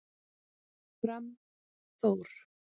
Fram Þór